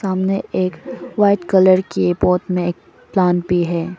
सामने एक white colour की पॉट में एक प्लांट भी है।